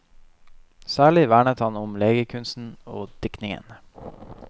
Særlig vernet han om legekunsten og diktningen.